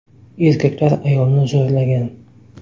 Erkaklar ayolni zo‘rlagan.